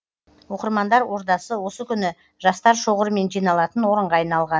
оқырмандар ордасы осы күні жастар шоғырымен жиналатын орынға айналған